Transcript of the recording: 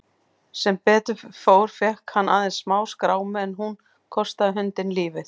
Sem betur fór fékk hann aðeins smáskrámu en hún kostaði hundinn lífið.